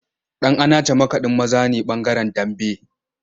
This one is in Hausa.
Dan’anace makadin maza ne bangaren Dambe.